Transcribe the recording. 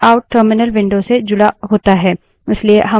स्वतः से standardout out stdout terminal window से जुड़ा होता है